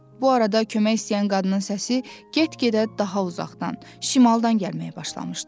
Bu arada kömək istəyən qadının səsi get-gedə daha uzaqdan, şimaldan gəlməyə başlamışdı.